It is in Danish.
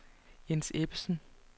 Jens Ebbesen